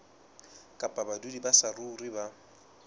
kapa badudi ba saruri ba